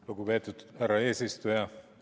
Lugupeetud härra eesistuja!